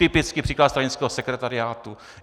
Typický příklad stranického sekretariátu.